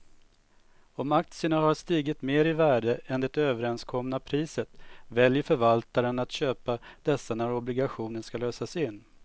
Om aktierna har stigit mer i värde än det överenskomna priset väljer förvaltaren att köpa dessa när obligationen ska lösas in.